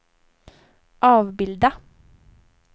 avbilda